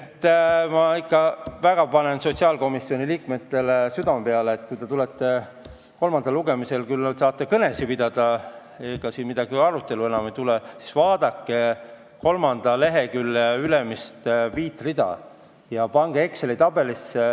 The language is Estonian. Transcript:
Ma panen ikka väga sotsiaalkomisjoni liikmetele südamele, et kui te tulete kolmandale lugemisele, siis te saate küll kõnesid pidada, sest ega siin ju arutelu enam ei tule, aga vaadake ka kolmanda lehekülje ülemist viit rida.